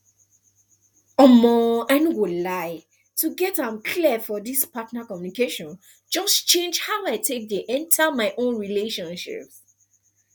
um i no go lie to get am clear for this partner communication just change how i take dey enter my own relationships